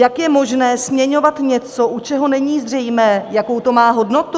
Jak je možné směňovat něco, u čeho není zřejmé, jakou to má hodnotu?